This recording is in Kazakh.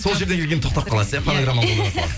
сол жеріне келгенде тоқтап қаласыз иә фонограмма болмаса